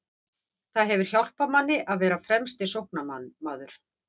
Það hefur hjálpað manni að vera fremsti sóknarmaður.